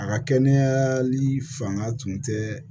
A ka kɛnɛyali fanga tun tɛ